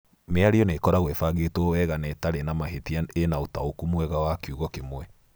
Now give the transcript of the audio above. Mĩario nĩ ĩkoragwo ĩbangĩtwo wega na ĩtarĩ na mahĩtia ĩna ũtaũku mwega wa kiugo kĩmwe